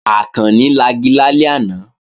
Àkànni lagi lálẹ́ àná